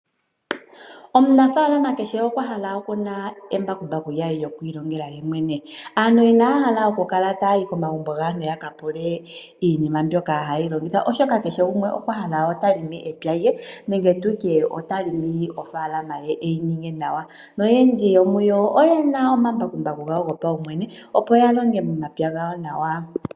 Omunafaalama kehe okwa hala embakumbaku lyokwiilongela kuye mwene. Aantu inaya hala okukala taya yi komagumbo gaantu ya ka pule iinima mbyoka hayi longithwa, oshoka kehe gumwe okwahala okulonga epya lye nenge tutye ota longo ofaalama ye eyi ninge nawa. Noyendji yomuyo oye na omambakumbaku gawo gopaumwene, opo ya longe momapya gawo nawa.